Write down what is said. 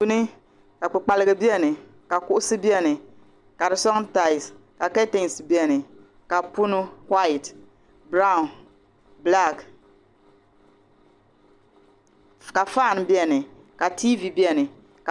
Duuni ka kpikpaliga biɛni ka kuɣusi biɛni ka di suŋ taasi ka katinsi biɛni ka punu waati biraw bilaaki ka faani biɛni ka tiivi biɛni.